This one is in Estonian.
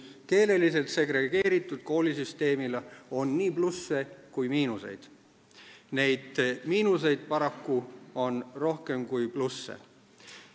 Keeleliselt segregeeritud koolisüsteemil on nii plusse kui ka miinuseid, miinuseid on aga paraku rohkem kui plusse.